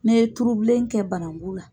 N'i ye turubilen kɛ banangu la